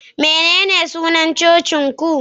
Menene sunan cocin ku?